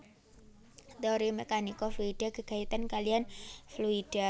Téori mèkanika fluida gégayutan kaliyan fluida